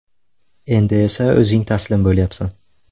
Endi esa o‘zing taslim bo‘lyapsan.